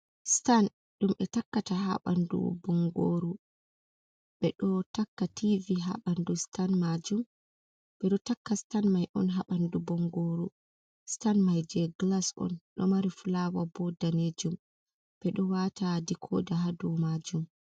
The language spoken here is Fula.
Stan dum ɓe takkata ha ɓandu bongoru, ɓe ɗo takka TV ha ɓandu stan majum. ɓe ɗo takka stan mai un ha bandu bongoru. Stan mai je glas un ɗo mari fulawa bo danejum, ɓe ɗo wata dikoda hadu majum.